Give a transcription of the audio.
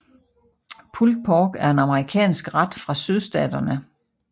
Pulled pork er en amerikansk ret fra sydstaterne